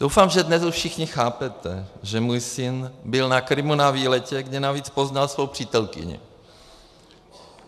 Doufám, že dnes už všichni chápete, že můj syn byl na Krymu na výletě, kde navíc poznal svou přítelkyni.